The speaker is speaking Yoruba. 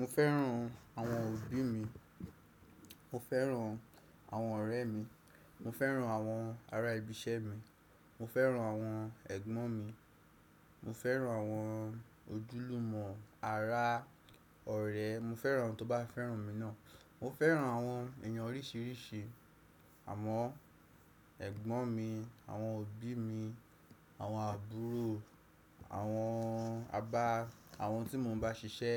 Mo fẹ́ràn àwọn òbí mi, mo fẹ́ràn àwọn ọ̀rẹ́ mi, mo fẹ́ràn àwọn ará ibi iṣẹ́ mi, mo fẹ́ràn àwọn ẹ̀gbọ́n mi, mo fẹ́ràn àwọn ojúlùmọ̀, ará, ọ̀rẹ́, mo fẹ́ràn ẹni tó bá fẹ́ràn mi náà, mo fẹ́ràn àwọn èèyàn oríṣìíríṣìí, àmọ ẹ̀gbọ́n mi, àwọn òbí mi, àwọn àbúrò, àwọn àbá, àwọn tí mo ń bá ṣiṣẹ́,